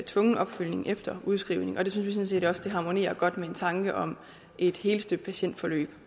tvungen opfølgning efter udskrivning og det synes vi sådan set også harmonerer godt med en tanke om et helstøbt patientforløb